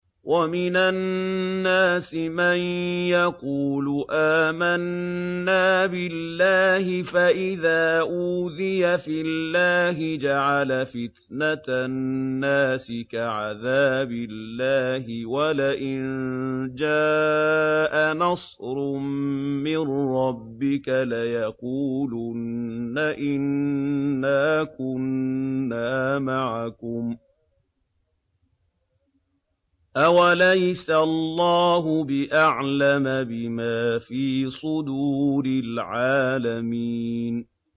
وَمِنَ النَّاسِ مَن يَقُولُ آمَنَّا بِاللَّهِ فَإِذَا أُوذِيَ فِي اللَّهِ جَعَلَ فِتْنَةَ النَّاسِ كَعَذَابِ اللَّهِ وَلَئِن جَاءَ نَصْرٌ مِّن رَّبِّكَ لَيَقُولُنَّ إِنَّا كُنَّا مَعَكُمْ ۚ أَوَلَيْسَ اللَّهُ بِأَعْلَمَ بِمَا فِي صُدُورِ الْعَالَمِينَ